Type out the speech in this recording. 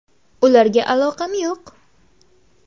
Ularga aloqam yo‘q.